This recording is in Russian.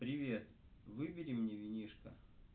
привет выбери мне винишко